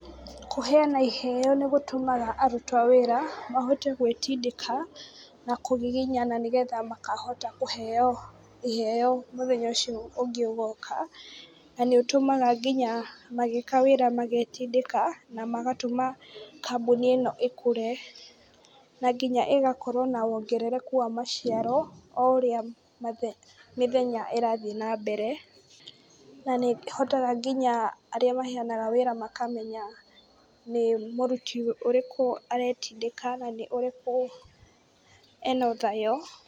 Kũheana iheo nĩgũtũmaga aruti awĩra mahote gwĩtindĩka na kũgiginyana nĩgetha makahota kũheo iheo mũthenya ũcio ũngĩ ũgoka, na nĩũtũmaga nginya magĩka wĩra magetindĩka na magatũmaga kambũni ĩno ĩkũre na nginya ĩgakorwo na wongerereku wa maciaro oũrĩa mĩthenya ĩrathi na mbere na nĩhotaga nginya arĩa maheanaga wĩra makamenya nĩmũruti ũrĩkũ aretindĩka na nĩũrĩkũ ena ũthayo.